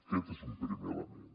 aquest és un primer element